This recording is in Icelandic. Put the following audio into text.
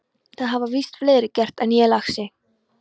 Það hafa víst fleiri gert en ég, lagsi.